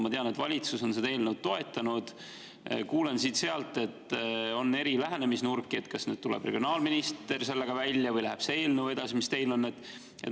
Ma tean, et valitsus on seda eelnõu toetanud, aga kuulen siit-sealt, et on eri lähenemisnurki, kas nüüd tuleb regionaalminister selle välja või läheb see eelnõu edasi, mis teil on.